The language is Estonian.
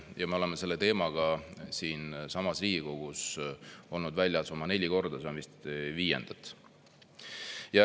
Ja me oleme selle teemaga siinsamas Riigikogus olnud väljas oma neli korda, see on vist viies kord.